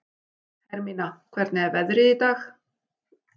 Hermína, hvernig er veðrið í dag?